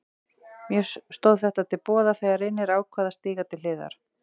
Mér stóð þetta til boða þegar Reynir ákvað að stíga til hliðar.